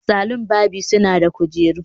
Salon barbing suna da kujeru